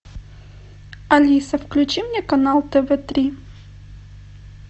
алиса включи мне канал тв три